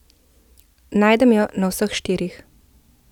Najdem jo na vseh štirih.